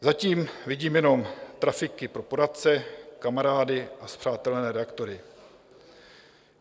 Zatím vidím jenom trafiky pro poradce, kamarády a spřátelené redaktory.